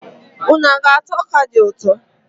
Unu ga-ata ọka dị ụtọ?